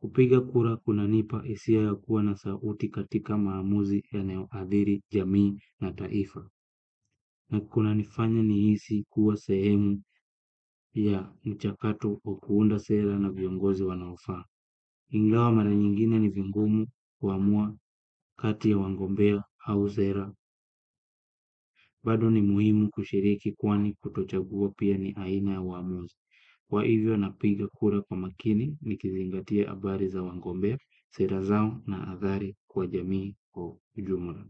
Kupiga kura kuna nipa hisia ya kuwa na sauti katika maamuzi yanayo adhiri, jamii na taifa. Na kuna nifanya ni hisi kuwa sehemu ya mchakato wa kuunda sera na viongozi wanaofaa. Ingawa mara nyingine ni vingumu, kuamua, kati ya wagombea au sera bado ni muhimu kushiriki kwani kutochagua pia ni aina ya uamuzi. Kwa hivyo napiga kura kwa makini ni kizingatia habari za wagombea, sera zao na athari kwa jamiikwa ujumula.